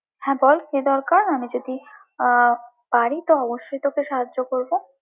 হ্যাঁ বল কি দরকার? আমি যদি আহ পার তো অবশ্যই তোকে সাহায্য করবো।